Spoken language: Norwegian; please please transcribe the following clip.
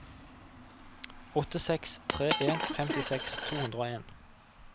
åtte seks tre en femtiseks to hundre og en